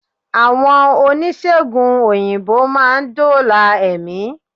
Àwọn oníṣègùn òyìnbó má a ndóòlà èmí